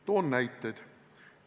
Toon näiteid.